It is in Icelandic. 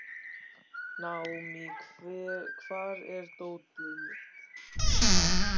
Naomí, hvar er dótið mitt?